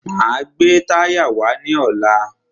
Máa gbé táyà wá lọ́la.